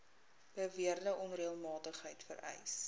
beweerde onreëlmatigheid vereis